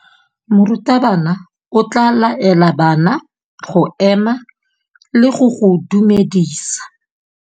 Morutabana o tla laela bana go ema le go go dumedisa.